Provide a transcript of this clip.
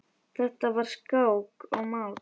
Þetta var skák og mát.